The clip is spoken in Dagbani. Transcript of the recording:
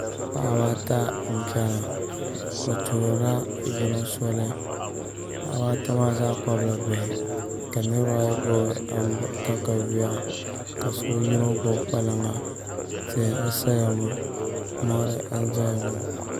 Paɣaba ata n chɛna bi tuhurila yino soli paɣaba ata maa zaa kpabila bihi ka niraba ayi gbubi katawiya ka yino gbubi kpalaŋa tihi n saya ŋo mori n ʒɛya ŋo